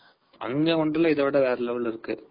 அங்க wonderla இதவிட வேற level ல இருக்கு.